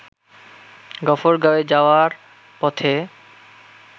গফরগাওঁয়ে যাওয়ার পথে